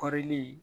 Kɔɔri